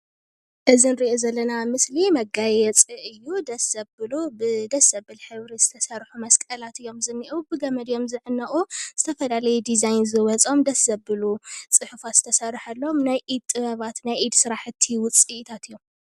እዚ ንሪኦ ዘለና ምስሊ መጋየፂ እዩ ደስ ዘብሉ ብደስ ዘብል ሕብሪ ዝተሰርሑ መስቀላት እዮም ዝኒአው ብገመድ እዮም ዝዕነቁ ዝተፈላለዩ ዲዛይን ዝወፆም ደስ ዘብሉ ፅሑፋት ዝተሰርሐሎም ናይ ኢድ ጥበባት ናይ ኢድ ስራሕቲ ውፅኢታት እዮም።